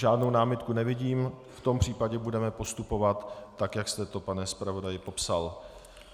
Žádnou námitku nevidím, v tom případě budeme postupovat tak, jak jste to, pane zpravodaji, popsal.